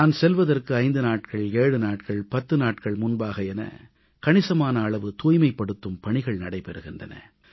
நான் செல்வதற்கு 5 நாட்கள் 7 நாட்கள் 10 நாட்கள் முன்பாக என கணிசமான அளவு தூய்மைப்படுத்தும் பணிகள் நடைபெறுகின்றன